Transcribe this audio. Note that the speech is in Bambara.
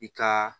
I ka